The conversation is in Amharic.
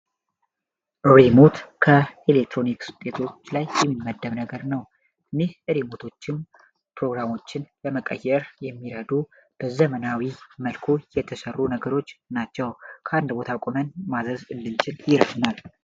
ሪሞት ከኤሌክትሮኒክ ውጤቶች ላይ የሚመደብ ነገር ነው። እኒህ ሬሞቶችም ፕሮግራሞችን ለመቀየር የሚራዱ በዘመናዊ መልኩ የተሸሩ ነገሮች ናቸው ።ከአንድ ቦታ ቁመን ማዘዝ እንችላልለን።